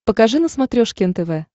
покажи на смотрешке нтв